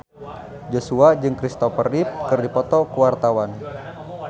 Joshua jeung Kristopher Reeve keur dipoto ku wartawan